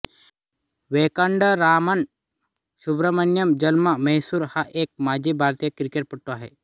वेंकटरामन सुब्रमण्य जन्म म्हैसूर हा एक माजी भारतीय क्रिकेटपटू आहे